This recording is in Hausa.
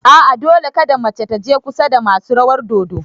A'a, Dole kada mace taje kusa da masu rawar dodo